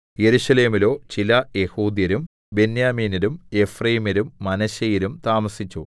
യെരൂശലേമിലോ ചില യെഹൂദ്യരും ബെന്യാമീന്യരും എഫ്രയീമ്യരും മനശ്ശെയരും താമസിച്ചു